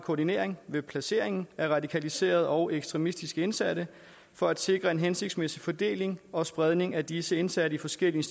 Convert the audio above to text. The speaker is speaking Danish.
koordinering af placeringen af radikaliserede og ekstremistiske indsatte for at sikre en hensigtsmæssig fordeling og spredning af disse indsatte i forskellige